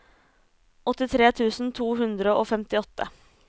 åttitre tusen to hundre og femtiåtte